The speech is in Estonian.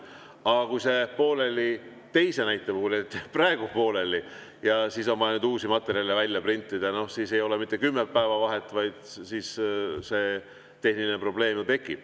Aga kui see jääb pooleli teise näite puhul, jääb näiteks praegu pooleli ja on vaja uusi materjale välja printida, siis ei ole mitte kümme päeva vahet, vaid siis tekib tehniline probleem.